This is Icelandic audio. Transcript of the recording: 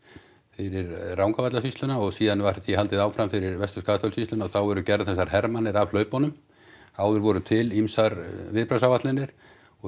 fyrir Rangárvallasýsluna og síðan var því haldið áfram fyrir Vestur Skaftafellssýsluna og þá eru gerðar þessar af hlaupunum áður voru til ýmsar viðbragðsáætlanir og